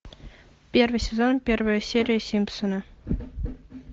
первый сезон первая серия симпсоны